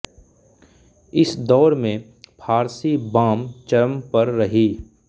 इस दौर में फ़ारसी बाम चरम पर रही